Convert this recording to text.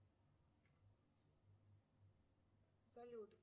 салют